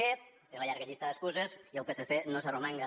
té una llarga llista d’excuses i el psc no s’arromanga